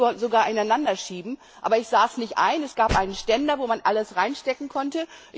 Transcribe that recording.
Ich konnte sie sogar ineinander schieben, aber ich sah es nicht ein. Es gab einen Ständer, wo man alles reinstecken konnte.